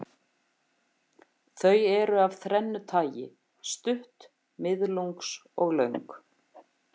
Þau eru af þrennu tagi, stutt, miðlungs og löng.